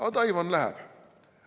Aga Taiwan läheb.